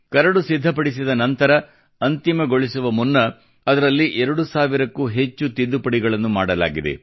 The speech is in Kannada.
ಕರಡು ಸಿದ್ಧಪಡಿಸಿದ ನಂತರ ಅಂತಿಮಗೊಳಿಸುವ ಮುನ್ನ ಅದರಲ್ಲಿ 2 ಸಾವಿರಕ್ಕೂ ಹೆಚ್ಚು ತಿದ್ದುಪಡಿಗಳನ್ನು ಮಾಡಲಾಗಿದೆ